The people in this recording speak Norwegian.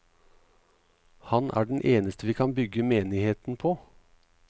Han er den eneste vi kan bygge menigheten på.